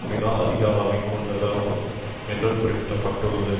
மிக அதிக அளவை கொண்டது ஆகும் என்று குறிப்பிட்டுள்ளது